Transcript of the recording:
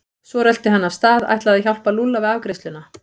Svo rölti hann af stað, ætlaði að hjálpa Lúlla við afgreiðsluna.